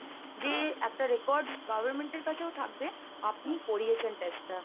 যে একটা records government এর কাছেও থাকবে আপনি করিয়েছেন test টা।